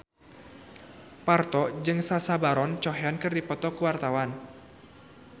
Parto jeung Sacha Baron Cohen keur dipoto ku wartawan